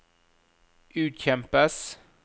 utkjempes